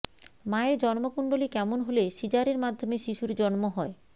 মায়ের জন্মকুণ্ডলী কেমন হলে সিজারের মাধ্যমে শিশুর জন্ম হয়